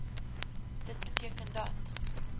dit beteken dat